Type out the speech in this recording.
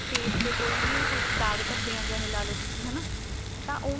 face ਤੇ ਕੋਈ ਵੀ ਕੁੱਝ ਦਾਗ ਧੱਬੇ ਇਹ ਜੇ ਲਾਲੋ ਤੁਸੀਂ ਹਨਾ ਤਾਂ ਉਹਨੂੰ